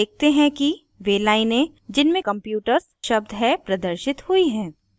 हम देखते हैं कि वे लाइनें जिनमें computers शब्द है प्रदर्शित हुई हैं